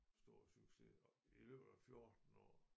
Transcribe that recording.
Stor succes og i løbet af 14 år